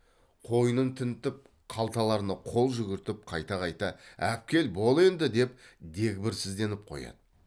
қойнын тінтіп қалталарына қол жүгіртіп қайта қайта әпкел бол енді деп дегбірсізденіп қояды